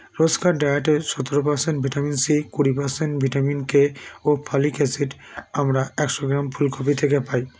রোজকার diet - এর সতেরো percent vitamin c কুড়ি percent vitamin k ও folic acid আমরা একশো গ্রাম ফুলকপি থেকে পাই